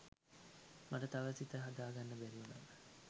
මට තවම හිත හදාගන්න බැරිඋනා